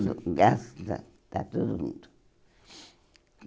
graças a, está todo mundo.